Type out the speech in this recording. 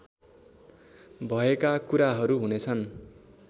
भएका कुराहरू हुनेछन्